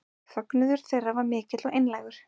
Fögnuður þeirra var mikill og einlægur